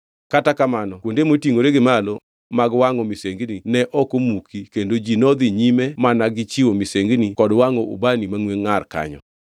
Kata kamano kuonde motingʼore gi malo mag wangʼo misengini ne ok omuki kendo ji nodhi nyime mana gi chiwo misengini kod wangʼo ubani mangʼwe ngʼar kanyo.